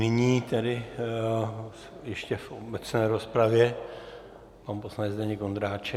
Nyní tedy ještě v obecné rozpravě pan poslanec Zdeněk Ondráček.